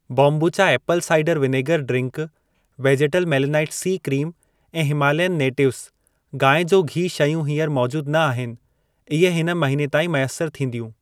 बोम्बुचा apple cider vinegar ड्रिंकु, वेजेटल मेलेनाइट-सी क्रीम ऐं हिमालयन नेटिवेस, गांइ जो घी शयूं हींअर मौजूद न आहिन। इहे हिन महीने ताईं मैसर थींदियूं।